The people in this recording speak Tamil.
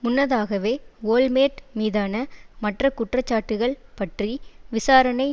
முன்னதாகவே ஓல்மேர்ட் மீதான மற்ற குற்றச்சாட்டுக்கள் பற்றி விசாரணை